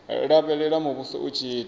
lavhelela muvhuso u tshi ita